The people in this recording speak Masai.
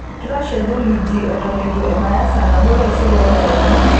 kitashe theluji eton etu ebaya saa nabo taisere tadekenya